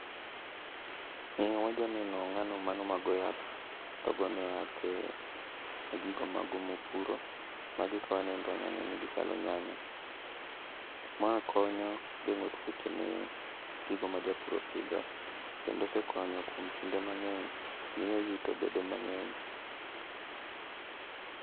Wajaneno ng'ano mano ma go yath, togone yath e gigo mage mopuro. Ma ka waneno to wanya neno ni gichalo nyanya. Ma konyo geng'o tuoche ne gigo ma japur opidho, kendo osekonyo kuom kinde mang'eny, miyo yuto bedo mang'eny.